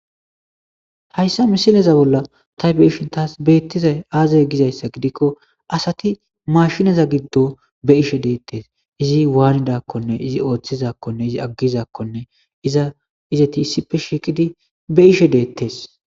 hayssa misileza bolla ta beyishin taas beettiza aazay gizayssa gidikko asati mashinaza giddo be ishe deettes izi waanidakkonne izi ooththizakkonne izi aggizakkonne iza izeti issippe shiiqidi be ishe deettes